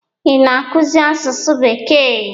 Ị na-akụzi asụsụ bekee?